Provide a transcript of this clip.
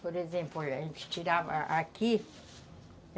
Por exemplo, a gente tirava aqui.